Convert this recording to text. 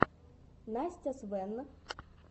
настя свэн